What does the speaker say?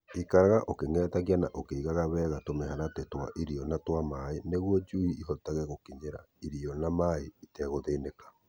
Ikaraga ũkĩng'etagia na ũkaigaga wega tũmĩharatĩ twa irio na twa maaĩ nĩguo njui ihotage gũkinyĩra irio na maaĩ itegũthĩnĩka.